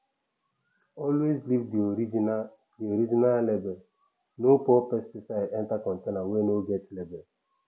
always leave the original the original labelno pour pesticide enter container wey no get label